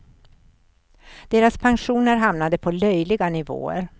Deras pensioner hamnar på löjliga nivåer.